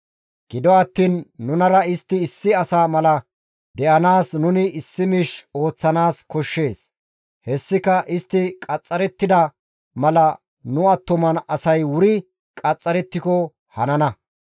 Gido attiin nunara istti issi asa mala de7anaas nuni issi miish ooththanaas koshshees; hessika istti qaxxarettida mala nu attuma asay wuri qaxxarettiko hanana.